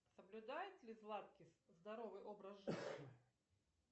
соблюдает ли златкис здоровый образ жизни